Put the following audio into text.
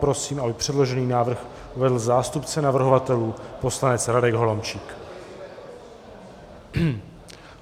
Prosím, aby předložený návrh uvedl zástupce navrhovatelů poslanec Radek Holomčík.